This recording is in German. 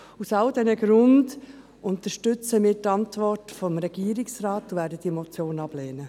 Aus diesen Gründen unterstützen wir die Antwort des Regierungsrates und lehnen die Motion ab.